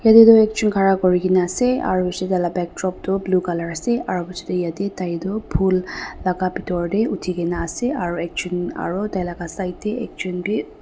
etu toh ekjun khara kurina ase aro itu piche te taila backdrop toh blue colour ase aro piche te ete tai toh phool la ga bitor de uthi kena ase aro ekjun aro tai la side de ekjun bi.